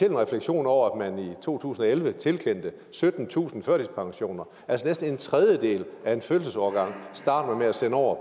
en refleksion over at man i to tusind og elleve tilkendte syttentusind førtidspensioner altså næsten en tredjedel af en fødselsårgang starter man med at sende over